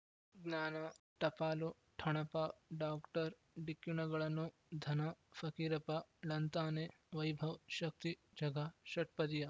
ಜ್ಞಾನ ಟಪಾಲು ಠೊಣಪ ಡಾಕ್ಟರ್ ಢಿಕ್ಕಿ ಣಗಳನು ಧನ ಫಕೀರಪ್ಪ ಳಂತಾನೆ ವೈಭವ್ ಶಕ್ತಿ ಝಗಾ ಷಟ್ಪದಿಯ